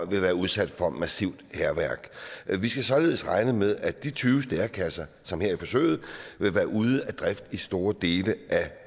vil være udsat for massivt hærværk vi skal således regne med at de tyve stærekasser som bruges her i forsøget vil være ude af drift i store dele